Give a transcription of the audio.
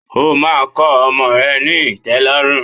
O máa kọ ọmọ ẹ ní ìtẹ́lọ́rùn.